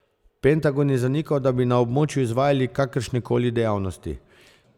Pentagon je zanikal, da bi na območju izvajali kakršnekoli dejavnosti.